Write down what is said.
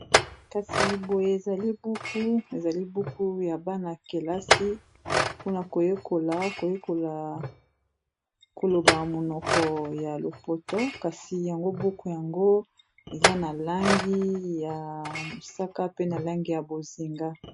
Kasi boye zalibuku ezali buku ya bana-kelasi mpona koyekola, koyekola koloba monoko ya lopoto kasi yango buku yango eza na langi ya mosaka pe na langi ya bozinga.